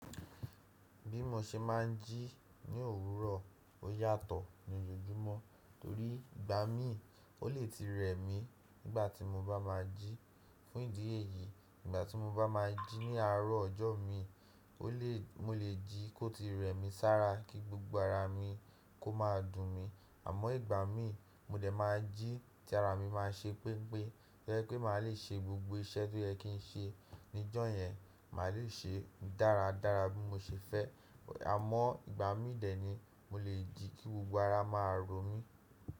Bí mo ṣe máa ń jí ní òwúrọ̀, ó yàtọ̀ ní ojoojúmọ́, torí ìgbà mí ò le ti rẹ̀ mí nígbà tí mo bá máa ń jí. Fún ìdí èyí, nígbà tí mo bá máa ń jí ní àárọ̀ ọjọ́ mi, o le mo lè jí kó ti rẹ́ mi sára kí gbogbo ara mi kó máa dùn mi. Àmọ́ ìgbà mí, mo dẹ̀ máa jí tí ara mi máa ṣe pẹ́npẹ́, to jẹ̀ pé màá le ṣe gbogbo iṣẹ́ tó yẹ kí n ṣe níjọ́ yẹn, màá lè ṣe dáradára bí mo ṣe fẹ́. Àmọ́ ìgbà mí dẹ̀ ni mo lè jí kí gbogbo ara máa ro mí.